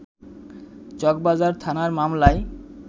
চকবাজার থানার মামলায়